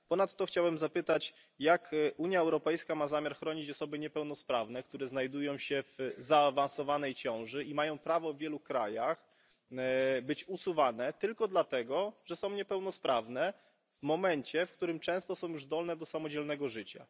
Ponadto chciałem zapytać, jak Unia Europejska ma zamiar chronić osoby niepełnosprawne, które znajdują się w zaawansowanej ciąży i które w wielu krajach mają prawo być usuwane tylko dlatego, że są niepełnosprawne, w momencie, w którym często są już zdolne do samodzielnego życia?